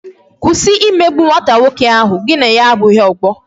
Kwụsị imegbu nwata nwoke ahụ, gị na ya abụghị ọgbọ